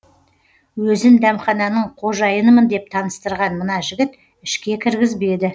өзін дәмхананың қожайынымын деп таныстырған мына жігіт ішке кіргізбеді